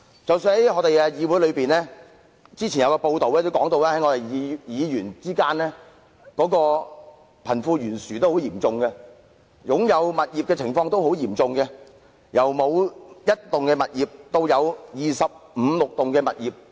即使在議會當中，據之前的報道，議員之間的貧富懸殊也很嚴重，是否擁有物業的情況也相當懸殊，有議員沒有擁有任何物業，也有議員擁有二十五六個物業。